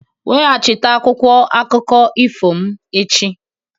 Weghachite akwụkwọ akụkọ ifo m echi!